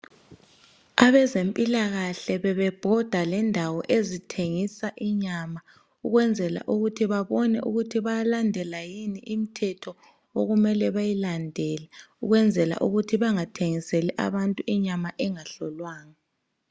Abezempilakahle bebhoda ngendawo ezithengisa inyama ukwenzela ukuthi babone ukuthi bayalandela yini umthetho okumele beyilandele ukwenzela ukuthi bengathengiseli bantu inyama engahlolwanga.